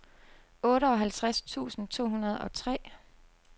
otteoghalvtreds tusind to hundrede og tre